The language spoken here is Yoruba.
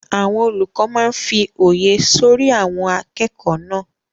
Àwọn olùkọ́ máa n fí òye sọ́rí àwọn akẹ́kọ̀ọ́ náà